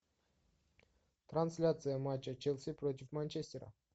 трансляция матча челси против манчестера